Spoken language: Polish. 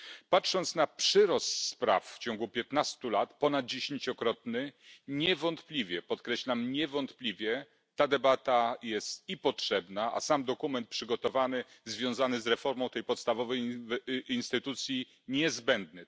Patrząc na przyrost spraw w ciągu 15 lat, ponad dziesięciokrotny, niewątpliwie podkreślam niewątpliwie ta debata jest potrzebna, a sam dokument przygotowany związany z reformą tej podstawowej instytucji niezbędny.